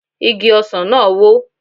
Igi ọsàn náà wó